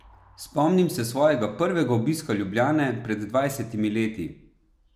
Spomnim se svojega prvega obiska Ljubljane pred dvajsetimi leti.